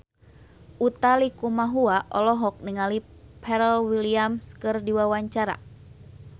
Utha Likumahua olohok ningali Pharrell Williams keur diwawancara